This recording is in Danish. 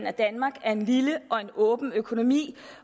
at danmark er en lille og en åben økonomi